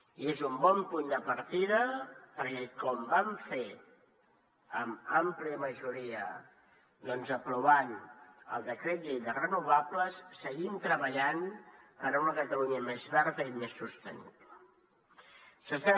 i és un bon punt de partida perquè com vam fer amb àmplia majoria doncs aprovant el decret llei de renovables seguim treballant per una catalunya més verda i més sostenible